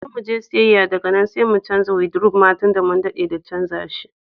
Zo muje siyayya daga nan sai mu canza wadiruf ma tunda mun jima da muka canza shi.